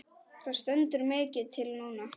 Það stendur mikið til núna.